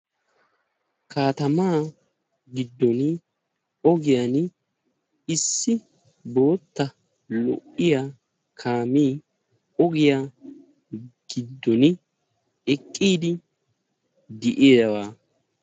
kattama gido ogiyani issi bootta lo"iyaa kaame ogiyani eqidi beettessi.